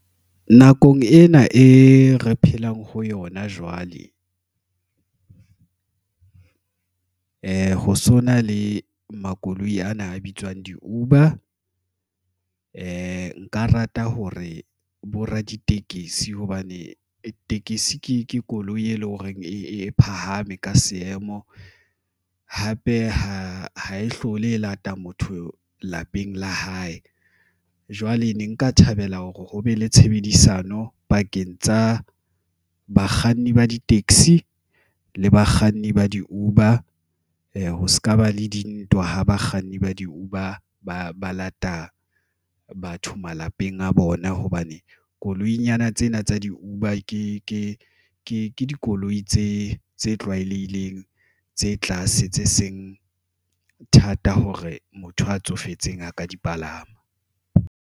Nakong ena e re phelang ho yona, jwale ho so na le makoloi ana a bitswang di-Uber. Nka rata hore bo raditekesi hobane tekesi ke koloi e leng hore e phahame ka seemo. Hape ha e hlole e lata motho lapeng la hae jwale ne nka thabela hore ho be le tshebedisano pakeng tsa bakganni ba ditekesi le bakganni ba di-Uber. Ho se ka ba le dintwa ho bakganni ba di-Uber. Ba lata batho malapeng a bona hobane koloi nyana tsena tsa di-Uber ke dikoloi tse tlwaelehileng tse tlase tse seng thata hore motho a tsofetseng a ka di palama.